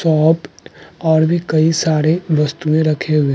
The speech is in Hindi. सोप और भी कई सारे वस्तुएँ रखे हुए --